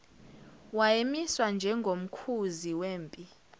wayemiswa njengomkhuzi wempi